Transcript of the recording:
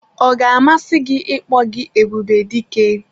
Ọ ga-amasị gị ịkpọ gị Ebubedike?